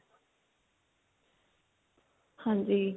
ਹਾਂਜੀ